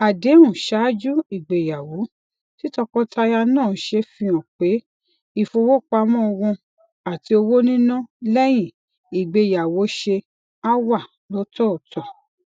àdéhùn ṣáájú ìgbéyàwó tí tọkọtaya náà ṣe fi han pe ifowopamọ wọn ati owo nina leyin igbeyawọṣe a wa lọtọọtọ